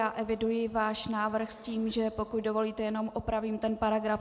Já eviduji váš návrh s tím, že pokud dovolíte, jenom opravím ten paragraf.